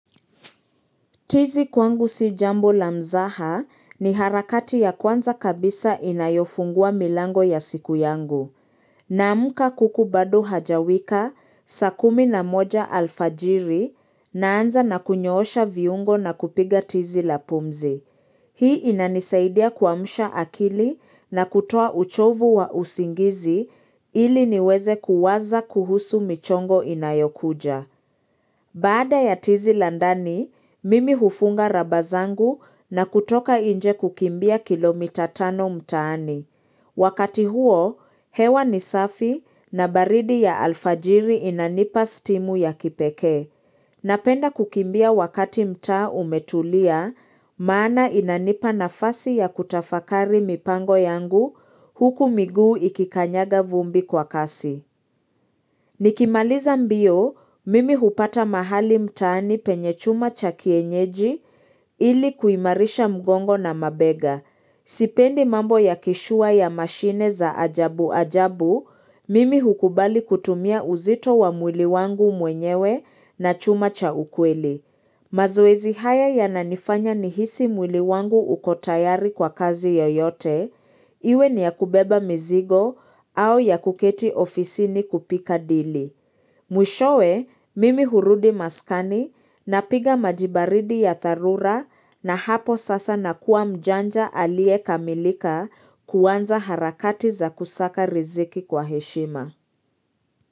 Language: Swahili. Tizi kwangu si jambo la mzaha ni harakati ya kwanza kabisa inayofungua milango ya siku yangu. Naamka kuku bado hajawika, saa kumi na moja alfajiri naanza na kuosha vyombo na kupiga tizi la pumzi. Hii inanisaidia kuamsha akili na kutoa uchovu wa usingizi ili niweze kuwaza kuhusu michongo inayokuja. Baada ya tizi la ndani, mimi hufunga raba zangu na kutoka nje kukimbia kilomita tano mtaani. Wakati huo, hewa ni safi na baridi ya alfajiri inanipa stimu ya kipekee. Napenda kukimbia wakati mtaa umetulia, maana inanipa nafasi ya kutafakari mipango yangu huku miguu ikikanyaga vumbi kwa kasi. Nikimaliza mbio, mimi hupata mahali mtaani penye chuma cha kienyeji ili kuimarisha mgongo na mabega. Sipendi mambo ya kishua ya mashine za ajabu ajabu, mimi hukubali kutumia uzito wa mwili wangu mwenyewe na chuma cha ukweli. Mazoezi haya yananifanya nihisi mwili wangu uko tayari kwa kazi yoyote, iwe ni ya kubeba mizigo au ya kuketi ofisini kupika dili. Mwishowe, mimi hurudi maskani napiga maji baridi ya dharura na hapo sasa nakuwa mjanja aliyekamilika kuanza harakati za kusaka riziki kwa heshima.